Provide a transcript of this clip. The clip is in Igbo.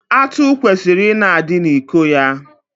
Atụ kwesịrị ị na-adị n'iko ya.